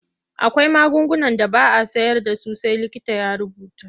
Akwai magungunan da ba a sayar da su sai likita ya rubuta.